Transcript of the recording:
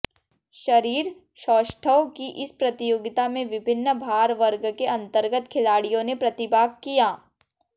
शरीर सौष्ठव की इस प्रतियोगिता में विभिन्न भार वर्ग के अंतर्गत खिलाड़ियों ने प्रतिभाग किया